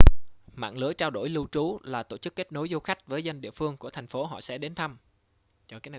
mạng lưới trao đổi lưu trú là tổ chức kết nối du khách với dân địa phương của thành phố họ sẽ đến thăm